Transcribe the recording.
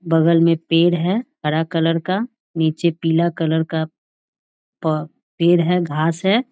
बगल में पेड़ है हरा कलर का नीचे पीला कलर का प पेड़ है घास हैं।